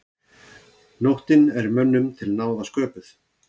Nóttin er mönnum til náða sköpuð.